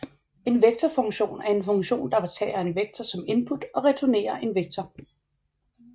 En vektorfunktion er en funktion der tager en vektor som input og returnerer en vektor